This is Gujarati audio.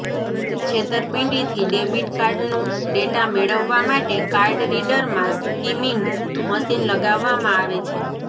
છેતરપિંડીથી ડેબિટ કાર્ડનો ડેટા મેળવવા માટે કાર્ડ રીડરમાં સ્કીમિંગ મશીન લગાવવામાં આવે છે